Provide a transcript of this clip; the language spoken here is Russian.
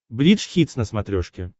бридж хитс на смотрешке